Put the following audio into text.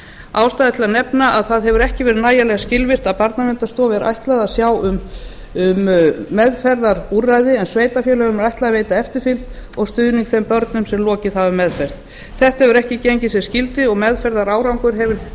ástæða er til að nefna að það hefur ekki verið nægjanlega skilvirkt að barnaverndarstofu er ætlað að sjá um meðferðarúrræði en sveitarfélögum er ætlað að veita eftirfylgd og stuðning þeim börnum sem lokið hafa meðferð þetta hefur ekki gengið sem skyldi og meðferðarárangur